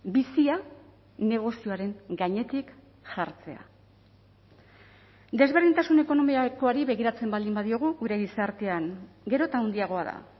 bizia negozioaren gainetik jartzea desberdintasun ekonomikoari begiratzen baldin badiogu gure gizartean gero eta handiagoa da